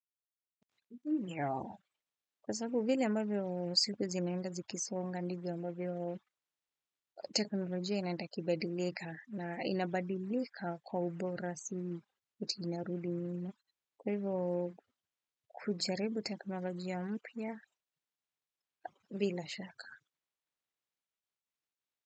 Ndiyo. Kwa sababu vile ambavyo siku zimeenda zikisonga ndivyo ambavyo teknolojia inaenda ikibadilika na inabadilika kwa ubora sana si ati inarudi nyuma. Kwa hivyo kujaribu teknolojia mpya bila shaka.